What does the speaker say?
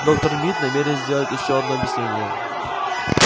доктор мид намерен сделать ещё одно объяснение